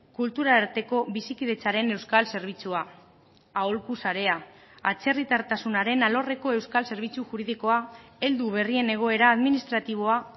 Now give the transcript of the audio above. kultura arteko bizikidetzaren euskal zerbitzua aholku sarea atzerritartasunaren alorreko euskal zerbitzu juridikoa heldu berrien egoera administratiboa